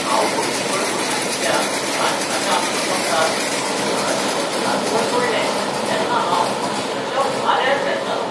हांव गोलकीपर म्हूण आशिल्ल्या फ्रांसाच्या आमच्या पंगडान फुटबॉलाचें वस्तादपण जोडलें तेन्ना हांव अक्षरशा वाऱ्यार झेलतालों.